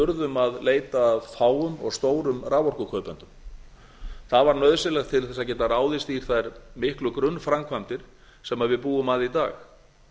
urðum að leita að fáum og stórum raforkukaupendum það var nauðsynlegt til þess að geta ráðist í þær miklu grunnframkvæmdir sem við búum að í dag